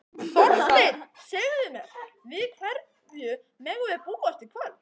Þorsteinn, segðu mér, við hverju megum við búast í kvöld?